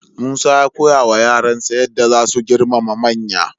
Musa ya koyawa yaransa yadda za su girmama manya.